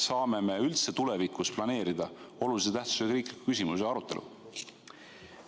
Kuidas me üldse saame tulevikus planeerida olulise tähtsusega riikliku küsimuse arutelu?